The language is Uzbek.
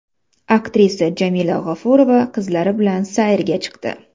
Aktrisa Jamila G‘ofurova qizlari bilan sayrga chiqdi.